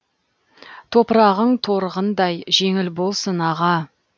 топырағың торғындай жеңіл болсын аға